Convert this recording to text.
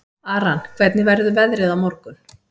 Aran, hvernig verður veðrið á morgun?